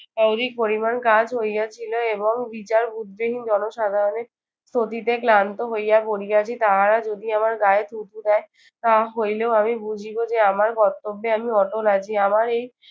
অধিক পরিমাণ কাজ হইয়াছিল এবং বিচার-বুদ্ধিহীন জনসাধারণের স্তুতিতে ক্লান্ত হইয়া পড়িয়াছি, তাহারা যদি আমার গায়ে থুথু দেয় তা হইলেও আমি বুঝিব যে, আমার কর্তব্যে আমি অটল আছি। আমার এই